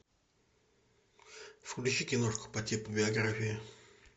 включи киношку по типу биография